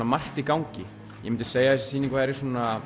margt í gangi ég myndi segja að þessi sýning væri